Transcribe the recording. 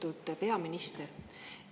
Austatud peaminister!